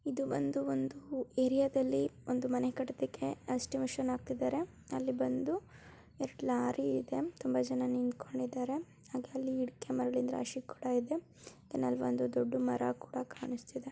ಇದು ಬಂದು ಒಂದು ಏರಿಯಾ ದಲ್ಲಿ ಒಂದು ಮನೆ ಕಟ್ಟೋದಿಕ್ಕೆ ಅಸ್ಟಿಮಿಷನ್ ಹಾಕ್ತಿದಾರೆ ಅಲ್ಲಿ ಬಂದು ಎರಡ್ ಲಾರಿ ಇದೆ ತುಂಬಾ ಜನ ನಿಂತ್ಕೊಂಡಿದರೆ ಹಾಗೆ ಅಲ್ಲಿ ಇಟ್ಟಿಗೆ ಮರಳಿನ ರಾಶಿ ಕೂಡ ಇದೆ ಧೆನ್ ಆಲ್ ಒಂದು ದೊಡ್ಡ ಮರ ಕೂಡ ಕಾಣಿಸ್ತಿದೆ .